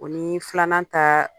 O ni filanan ta